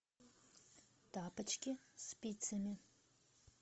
тапочки спицами